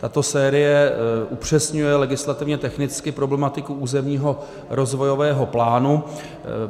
Tato série upřesňuje legislativně technicky problematiku územního rozvojového plánu.